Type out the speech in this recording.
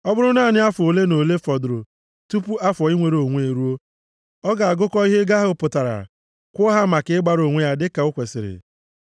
Ọ bụrụ naanị afọ ole na ole fọdụrụ tupu afọ inwere onwe eruo, ọ ga-agụkọ ihe ego ahụ pụtara, kwụọ ya maka ịgbara onwe ya dịka o kwesiri.